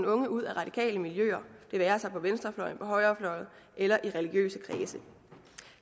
unge ud af radikale miljøer det være sig på venstrefløjen på højrefløjen eller i religiøse kredse